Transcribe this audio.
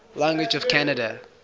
languages of canada